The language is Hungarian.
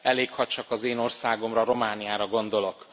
Elég, ha csak az én országomra, Romániára gondolok.